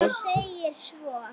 Og segir svo